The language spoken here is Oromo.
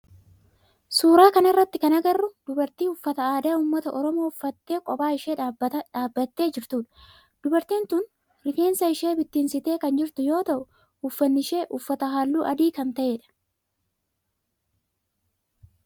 Suuraa kana irratti kan agarru dubarti uffata aadaa ummata oromoo uffattee qopha ishee dhaabbattee jirtudha. Dubartiin tun rifeensa ishee bittinsitee kan jirtu yoo ta'u uffanni ishee uffatte halluu adii kan ta'edha.